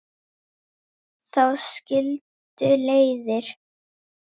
Þá skildu leiðir.